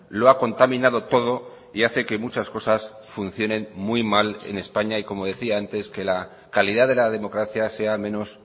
lo ha contaminado todo y hace que muchas cosas funcionen muy mal en españa y como decía antes que la calidad de la democracia sea menos